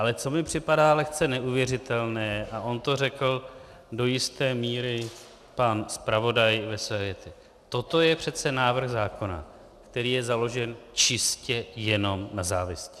Ale co mi připadá lehce neuvěřitelné, a on to řekl do jisté míry pan zpravodaj ve své větě - toto je přece návrh zákona, který je založen čistě jenom na závisti.